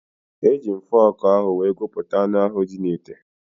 Eji m fọọkụ ahụ wee gụpụta anụ ahụ dị n'ite.